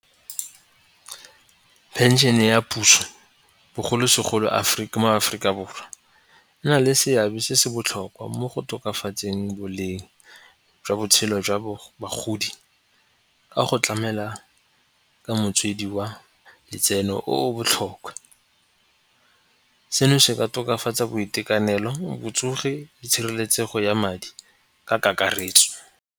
Pension-e ya puso bogolo segolo mo Aforika Borwa. E na le seabe se se botlhokwa mo go tokafatseng boleng jwa botshelo jwa bagodi ka go tlamela ka motswedi wa letseno o o botlhokwa. Seno se ka tokafatsa boitekanelo, botsogi le tshireletsego ya madi ka kakaretso.